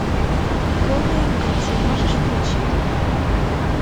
голые амбиции можешь включить